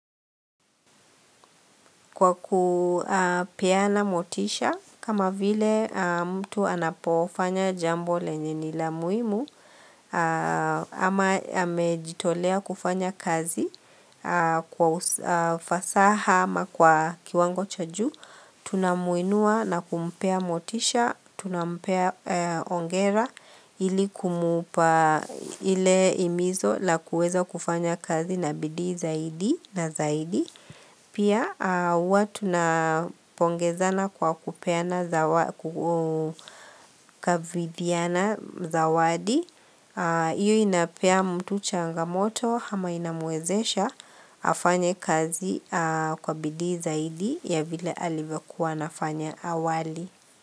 Kwa kupeana motisha, kama vile mtu anapofanya jambo lenye ni la muhimu, ama amejitolea kufanya kazi kwa ufasaha ama kwa kiwango chajuu, tunamuinua na kumpea motisha, tunampea hongera ili kumupa ile imizo la kueza kufanya kazi na bidii zaidi na zaidi. Pia huwatu na pongezana kwa kupeana zawadi, iyo inapea mtu changamoto hama inamwezesha afanye kazi kwa bidii zaidi ya vile alivyo kuwa anafanya awali.